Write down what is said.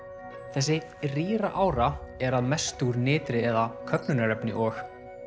þessi rýra ára er að mestu úr eða köfnunarefni og